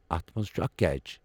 اتھ منٛز چھُ اکھ کیچ